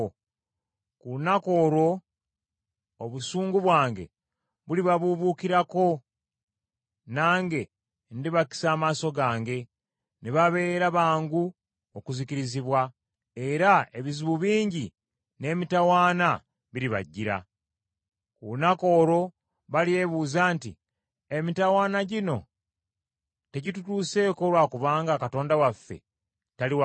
Ku lunaku olwo obusungu bwange bulibabuubuukirako, nange ndibakisa amaaso gange, ne babeera bangu okuzikirizibwa, era ebizibu bingi n’emitawaana biribajjira. Ku lunaku olwo balyebuuza nti, ‘Emitawaana gino tegitutuseeko lwa kubanga Katonda waffe tali wakati mu ffe?’